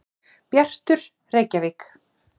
Bjartur, Reykjavík.